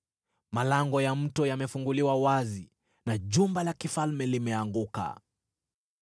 Malango ya mto yamefunguliwa wazi, na jumba la kifalme limeanguka.